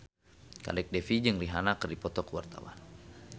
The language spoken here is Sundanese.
Kadek Devi jeung Rihanna keur dipoto ku wartawan